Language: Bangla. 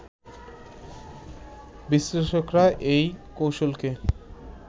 বিশ্লেষকরা এই কৌশলকে